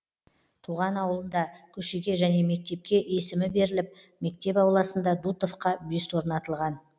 туған ауылында көшеге және мектепке есімі беріліп мектеп ауласында дутовқа бюст орнатылған